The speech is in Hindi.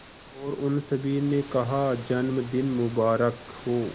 और उन सभी ने कहा जन्मदिन मुबारक हो